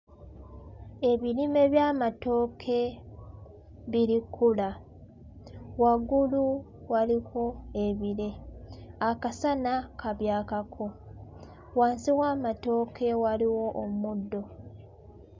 Ebirime by'amatooke biri kkula. Waggulu waliko ebire. Akasana kabyakako. Wansi w'amatooke waliwo omuddo.